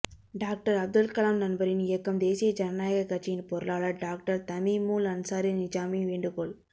doctor Abdul Kalam நண்பரின் இயக்கம் தேசிய ஜனநாயகக் கட்சியின் பொருளாளர் டாக்டர் தமீமுல் அன்சாரி நிஜாமி வேண்டுகோள்